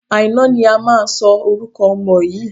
Àìná ni a máa sọ orúkọ ọmọ yìí.